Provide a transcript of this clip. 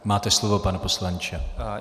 Máte slovo, pane poslanče.